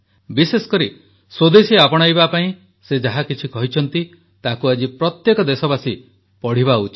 ବିଶେଷ କରି ସ୍ୱଦେଶୀ ଆପଣାଇବା ପାଇଁ ସେ ଯାହା କିଛି କହିଛନ୍ତି ତାକୁ ଆଜି ପ୍ରତ୍ୟେକ ଦେଶବାସୀ ପଢ଼ିବା ଉଚିତ